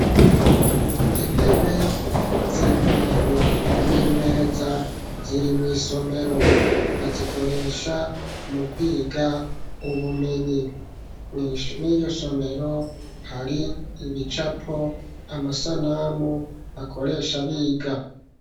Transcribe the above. Intebe z'imbaho n'imeza ziri misomero bazikoresha mu kwiga ubumenyi, mwiryosomero hari ibicapo amasanamu bakoresha biga.